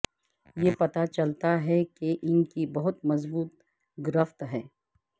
یہ پتہ چلتا ہے کہ ان کی بہت مضبوط گرفت ہے